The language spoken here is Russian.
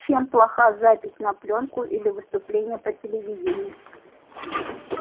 чем плоха запись на плёнку или выступление по телевидению